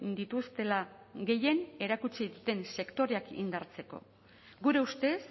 dituztela gehien erakutsi duten sektoreak indartzeko gure ustez